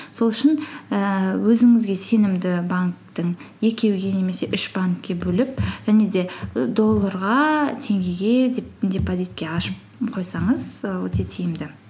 сол үшін ііі өзіңізге сенімді банктің екеуге немесе үш банкке бөліп және де долларға теңгеге деп депозитке ашып қойсаңыз і өте тиімді